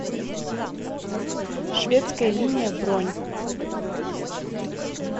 шведская линия бронь